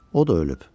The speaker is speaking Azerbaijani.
O da ölüb.